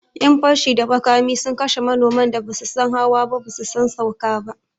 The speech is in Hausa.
Yan fashi da makami sun kashe manoman da basu san hawa ba basu san sauka ba